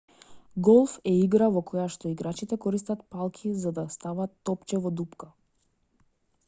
голф е игра во којашто играчите користат палки за да стават топче во дупка